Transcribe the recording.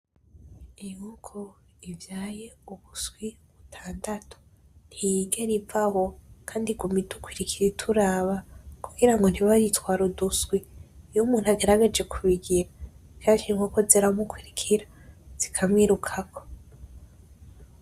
Inkoko ivyaye uduswi dutandatu ntiyigera ivaho kandi iguma idukurikira ituraba kugira ngo ntibayitware uduswi, iyumuntu agerageje kubigira kenshi inkoko ziramukurikira zikamwirukako.